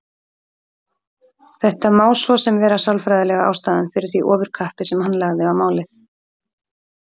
Þetta má svo sem vera sálfræðilega ástæðan fyrir því ofurkappi sem hann lagði á málið.